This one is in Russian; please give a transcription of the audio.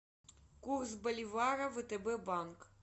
курс боливара втб банк